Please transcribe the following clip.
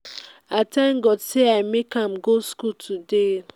i thank god say i make am go school today